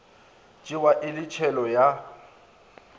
tšewa e le tshelo ya